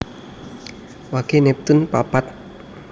Wage neptune papat